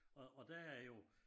Og og der er jo